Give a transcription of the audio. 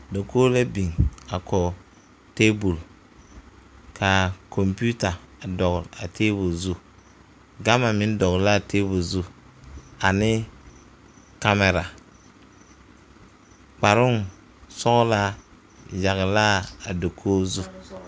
Dakogro la biŋ kɔŋ tabol kaa kompeuta a dɔgl a tabol zu gama meŋ dɔgl laa tabol zu ane kamira kparoŋ sɔglaa yagl laa dakoge zu.